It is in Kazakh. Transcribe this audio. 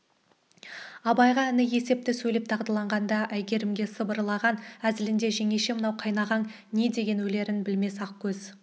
абайға іні есепті сөйлеп дағдыланған-ды әйгерімге сыбырлаған әзілінде жеңеше мынау қайнағаң не деген өлерін білмес ақкөз